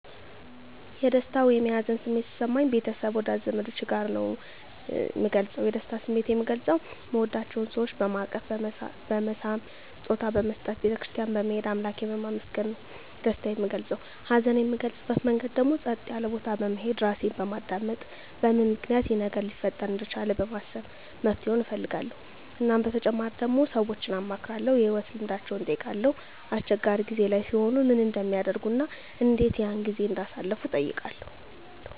የደስታ ወይም የሀዘን ስሜት ሲሰማኝ ቤተሰብ ወዳጅ ዘመዶቸ ጋር ነዉ ምገልፀዉ የደስታ ስሜቴን ምገልፀዉ ምወዳቸዉ ሰወችን በማቀፍ በመሳም ስጦታ በመስጠት ቤተ ክርስትያን በመሄድ አምላኬን በማመስገን ነዉ ደስታየን ምገልፀዉ ሀዘኔን ምገልፅበት መንገድ ደግሞ ፀጥ ያለ ቦታ በመሄድ ራሴን በማዳመጥ በምን ምክንያት ይሄ ነገር ሊፈጠር እንደቻለ በማሰብ መፍትሄዉን እፈልጋለዉ እናም በተጨማሪ ደግሞ ሰወችን አማክራለዉ የህይወት ልምዳቸዉን እጠይቃለዉ አስቸጋሪ ጊዜ ላይ ሲሆኑ ምን እንደሚያደርጉ እና እንዴት ያን ጊዜ እንዳሳለፉትም እጠይቃለዉ